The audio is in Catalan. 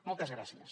moltes gràcies